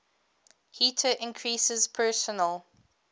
heater increases personal